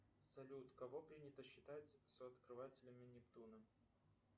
салют кого принято считать сооткрывателями нептуна